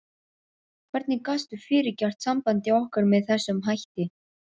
Hvernig gastu fyrirgert sambandi okkar með þessum hætti?